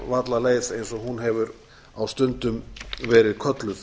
húnavallaleið eins og hún hefur á stundum verið kölluð